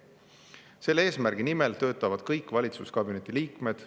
Selle eesmärgi nimel töötavad kõik valitsuskabineti liikmed.